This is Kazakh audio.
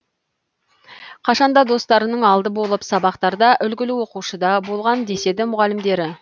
қашанда достарының алды болып сабақтада үлгілі оқушыда болған деседі мұғалімдері